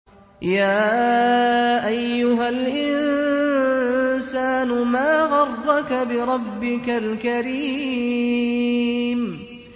يَا أَيُّهَا الْإِنسَانُ مَا غَرَّكَ بِرَبِّكَ الْكَرِيمِ